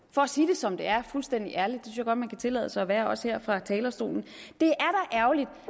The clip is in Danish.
for at sige det som det er fuldstændig ærligt det jeg godt man kan tillade sig at være også her fra talerstolen det